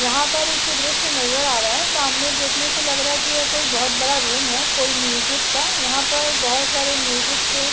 यहाँ पर एक दृश्य नजर आ रहा है सामने देखने से लग रहा है की यह कोई बहुत बड़ा रूम है कोई म्यूजिक का यहाँ पर बहुत सारे म्यूजिक के --